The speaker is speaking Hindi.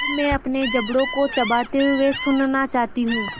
अब मैं अपने जबड़ों को चबाते हुए सुनना चाहती हूँ